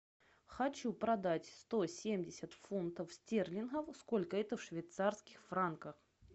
хочу продать сто семьдесят фунтов стерлингов сколько это в швейцарских франках